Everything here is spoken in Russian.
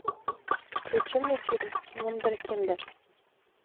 включи мне фильм вундеркинды